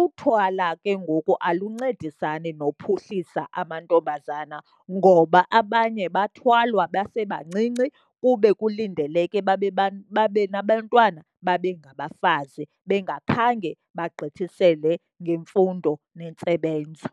Uthwala ke ngoku aluncedisani nophuhlisa amantombazana, ngoba abanye bathwalwa besebancinci kube kulindeleke babe , babe nabantwana, babe ngabafazi bengakhange bagqithisele ngemfundo nentsebenzo.